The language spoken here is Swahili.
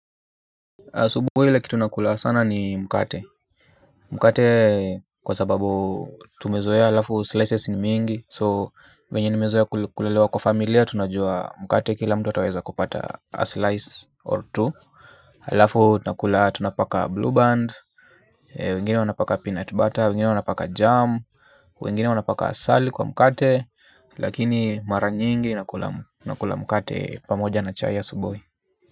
Asubuhi ile kitu nakula sana ni mkate. Mkate kwa sababu tumezoea halafu slices ni mingi. So, venye nimezoea kulelewa kwa familia, tunajua mkate kila mtu ataweza kupata a slice or two. Alafu tunakula tunapaka blue band. Wengine wanapaka peanut butter, wengine wanapaka jam. Wengine wanapaka asali kwa mkate. Lakini mara nyingi nakula mkate pamoja na chai ya asubuhi.